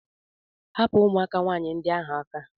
Hapụ ụmụaka nwaanyị ndị ahụ aka!